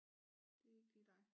Det er ikke lige dig